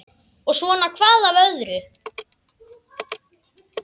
Og svona hvað af öðru.